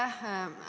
Aitäh!